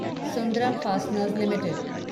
Sundaram fasteners limited